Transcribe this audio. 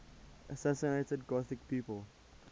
assassinated gothic people